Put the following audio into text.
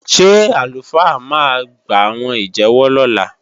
Ṣé àlùfáà máa gbàwọn ìjẹ́wọ́ lọ́la?